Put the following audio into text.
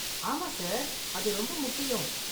ஆமா, சார். அது ரொம்ப முக்கியம்.